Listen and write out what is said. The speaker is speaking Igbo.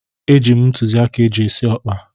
Eji m ntụzịaka eji esi ọkpa.